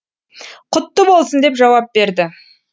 құтты болсын деп жауап берді